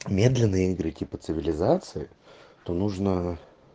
медленные игры типа цивилизации то нужно